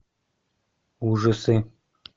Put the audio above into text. ужасы